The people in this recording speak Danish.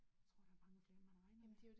Tror der er mange flere end man regner med